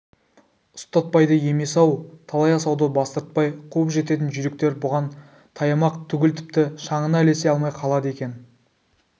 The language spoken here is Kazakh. ұстатпайды емес-ау талай асауды бастыртпай қуып жететін жүйріктер бұған таямақ түгіл тіпті шаңына ілесе алмай қалады екен